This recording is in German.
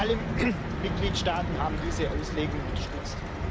Alle Mitgliedstaaten haben diese Auslegung unterstützt.